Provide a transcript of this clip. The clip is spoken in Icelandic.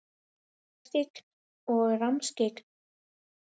Að vera skyggn og rammskyggn?